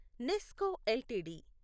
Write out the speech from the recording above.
Nesco LTD